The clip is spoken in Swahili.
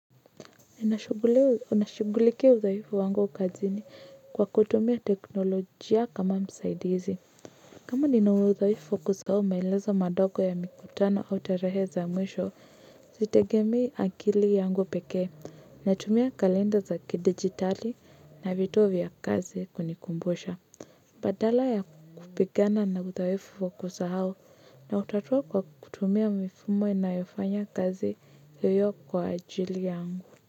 Ninashugulikia uthaifu wangu kazini kwa kutumia teknolojia kama msaidizi. Kama nina udhaifu wa kusahau maelezo madogo ya mikutano au tarehe za mwisho, sitegemei akili yangu pekee. Natumia kalenda za kidigitali na vitu vya kazi kunikumbusha. Badala ya kupigana na udhaifu wa kusahau nautatua kwa kutumia mifumo inayofanya kazi hiyo kwa ajili yangu.